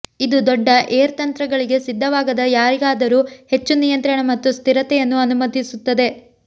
ಇದು ದೊಡ್ಡ ಏರ್ ತಂತ್ರಗಳಿಗೆ ಸಿದ್ಧವಾಗದ ಯಾರಿಗಾದರೂ ಹೆಚ್ಚು ನಿಯಂತ್ರಣ ಮತ್ತು ಸ್ಥಿರತೆಯನ್ನು ಅನುಮತಿಸುತ್ತದೆ